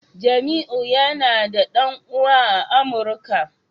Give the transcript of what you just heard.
Jamiu yana da dan uwa a amuka